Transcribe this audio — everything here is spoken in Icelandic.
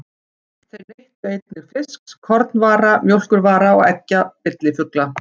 Þeir neyttu einnig fisks, kornvara, mjólkurvara og eggja villifugla.